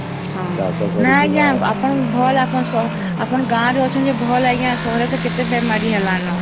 ହଁ ନାଇଁ ଆଂଜ୍ଞା ଆପଣ ଭଲ ଆପଣ ଆପଣ ଗାଁ ରେ ଅଛନ୍ତି ଭଲ ଆଂଜ୍ଞା ସହର ରେ ତ କେତେ ବେମାରୀ ହେଲାଣି ନ